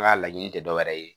An ka laɲini tɛ dɔwɛrɛ ye